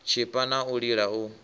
tshipa na u lila u